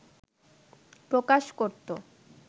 প্রকাশ করত